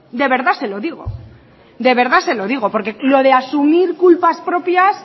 de verdad se lo digo porque lo de asumir culpas propias